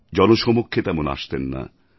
জনসমক্ষে তেমন আসতেন না